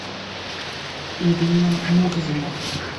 ирина мурзина